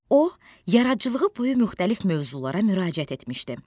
O, yaradıcılığı boyu müxtəlif mövzulara müraciət etmişdi.